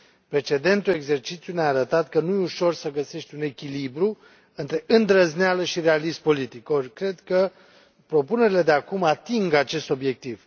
Precedentul exercițiu ne a arătat că nu e ușor să găsești un echilibru între îndrăzneală și realism politic, or cred că propunerile de acum ating acest obiectiv.